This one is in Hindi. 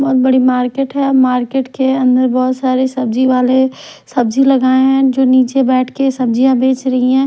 बहुत बड़ी मार्केट है और मार्केट के अंदर बहोत सारी सब्जी वाले सब्जी लगाए जो नीचे बैठ के सब्जियां बेच रही है।